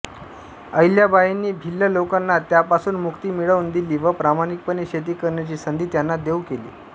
अहिल्याबाईंनी भिल्ल लोकांना त्यापासून मुक्ती मिळवून दिली व प्रामाणिकपणे शेती करण्याची संधी त्यांना देऊ केली